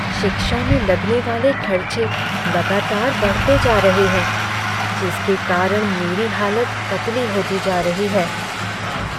शिक्षा में लगने वाले खर्चे लगातार बढ़ते जा रहे हैं जिसके कारण मेरी हालत पतली होती जा रही है।